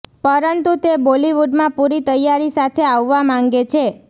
પરંતુ તે બોલીવુડમાં પુરી તૈયારી સાથે આવવા માંગે છે